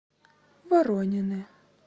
воронины